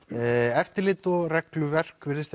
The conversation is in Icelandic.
eftirlit og regluverk virðist